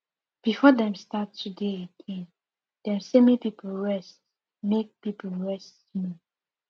before dem start to dey again dem say make people rest make people rest small